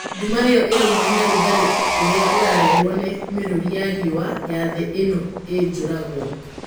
Nduma ĩo ĩraumana na rugarĩ ũrĩa ũrarehwo nĩ mĩrũri ya riũa ya thĩ ĩno ĩijaragwo.